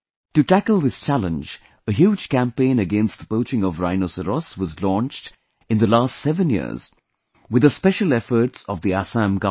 To tackle this challenge, a huge campaign against the poaching of rhinoceros was launched in the last seven years with the special efforts of the Assam government